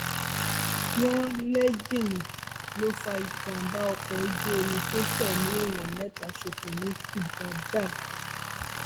wọn lẹńjìnnì ló fa ìjàmbá ọkọ ojú omi tó fẹmí èèyàn mẹta ṣòfò ní badág